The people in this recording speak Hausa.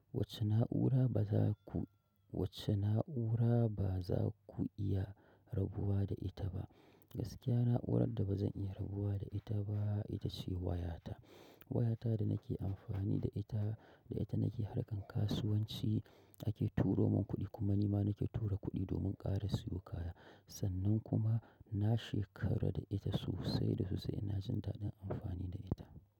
Wace na'ura bazaku iya rabuwa da ita ba gaskiya na'urar da ba zan iya rabuwa da ita ba ita ce wayata. Wayata da nake amfani da ita, da ita nake harkan kasuwanci, ake turo mun kuɗi kuma ni ma nake tura kuɗi domin ƙara siyo kaya. Sannan kuma na shekara da ita sosai da sosai na jin daɗin amfani da ita.